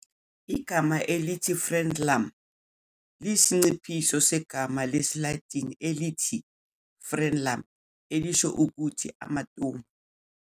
Igama elithi "frenulum" liyisinciphiso segama lesiLatini elithi "frenum," elisho ukuthi "amatomu."